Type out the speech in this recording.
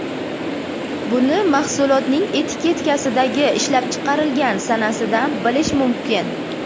Buni mahsulotning etiketkasidagi ishlab chiqarilgan sanasidan bilish mumkin.